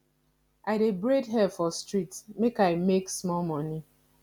i dey braid her for street make i make small moni